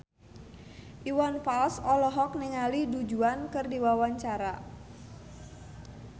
Iwan Fals olohok ningali Du Juan keur diwawancara